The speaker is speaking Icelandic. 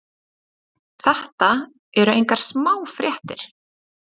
Þetta eru engar smá fréttir.